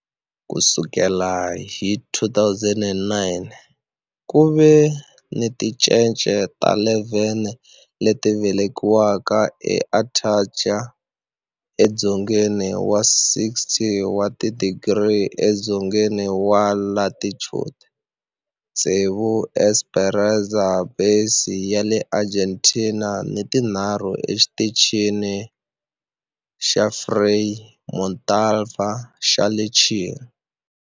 Ku sukela hi 2009, ku ve ni tincece ta 11 leti velekiweke eAntarctica, edzongeni wa 60 wa tidigri edzongeni wa latitude, tsevu eEsperanza Base ya le Argentina ni tinharhu eXitichini xa Frei Montalva xa le Chile.